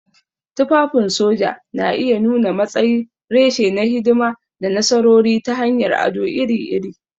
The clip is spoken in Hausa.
Tufafin soja na iya nuna matsayi, reshe na hidima, da nasarori ta hanyar ado iri-iri.